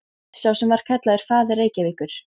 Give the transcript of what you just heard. Skúli Magnússon, sá sem var kallaður faðir Reykjavíkur.